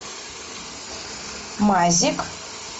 мазик